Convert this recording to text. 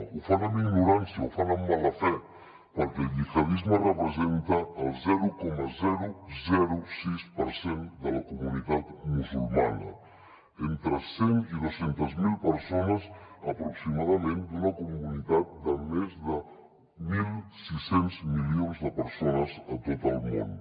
ho fan amb ignorància ho fan amb mala fe perquè el gihadisme representa el zero coma sis per cent de la comunitat musulmana entre cent miler i dos cents miler persones aproximadament d’una comunitat de més de mil sis cents milions de persones a tot el món